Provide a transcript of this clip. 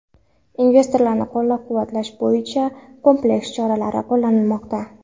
Investorlarni qo‘llab-quvvatlash bo‘yicha kompleks choralar qo‘llanilmoqda.